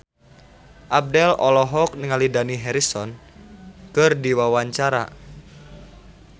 Abdel olohok ningali Dani Harrison keur diwawancara